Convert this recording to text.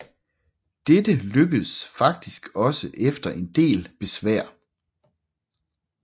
Dette lykkedes faktisk også efter en del besvær